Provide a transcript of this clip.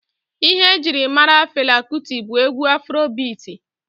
Ihe ejiri mara Fela Kuti bụ egwu afro biiti.